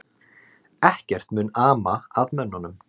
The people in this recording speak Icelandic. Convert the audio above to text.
Ekkert mun ama að mönnunum